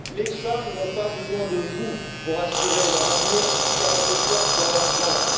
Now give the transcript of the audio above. Les femmes n'ont pas besoin de vous pour assurer leur avenir, car elles le portent dans leur ventre.